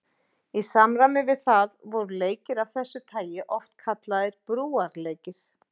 Í samræmi við það voru leikir af þessu tagi oft kallaðir brúarleikir.